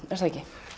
er það ekki